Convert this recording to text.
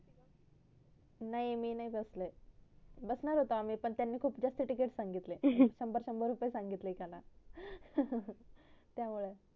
नाही मी नाही बसले बसणार होतो आम्ही पण त्यांनी खूप जास्त ticket संगितले शंभर शंभर संगितले एकला त्यामुड